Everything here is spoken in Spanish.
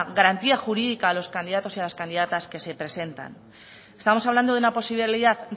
garantía jurídica a los candidatos y candidatas que se presentan estamos hablando de una posibilidad